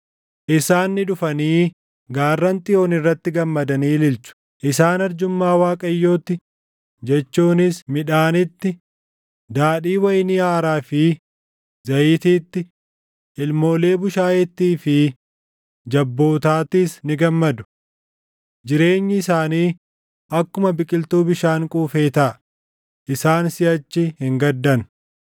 Isaan ni dhufanii gaarran Xiyoon irrattis gammadanii ililchu; isaan arjummaa Waaqayyootti jechuunis midhaanitti, daadhii wayinii haaraa fi zayitiitti, ilmoolee bushaayeettii fi jabbootaattis ni gammadu. Jireenyi isaanii akkuma biqiltuu bishaan quufee taʼa; isaan siʼachi hin gaddan.